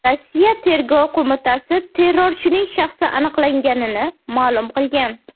Rossiya Tergov qo‘mitasi terrorchining shaxsi aniqlanganini ma’lum qilgan.